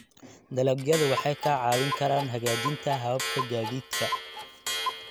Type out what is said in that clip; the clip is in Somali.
Dalagyadu waxay kaa caawin karaan hagaajinta hababka gaadiidka.